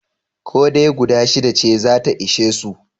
Ko dai guda shida ce za ta ishe su?